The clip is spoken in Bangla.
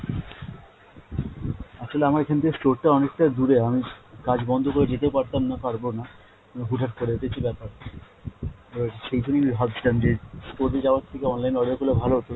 actually আমার এখান থেকে store টা অনেক টা দূরে আমি কাজ বন্ধ করে যেতেও পারতাম না, পারবো না, মানে হুটহাট করে এটাই হচ্ছে ব্যাপার। এবার সেই জন্যেই আমি ভাবছিলাম যে store এ যাওয়ার থেকে online এ order করলে ভালো হত,